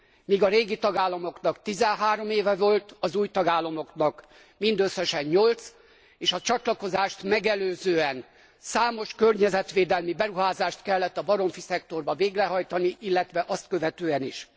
Míg a régi tagállamoknak 13 éve volt, az új tagállamoknak mindösszesen 8, és a csatlakozást megelőzően számos környezetvédelmi beruházást kellett a baromfiszektorban végrehajtani, illetve azt követően is.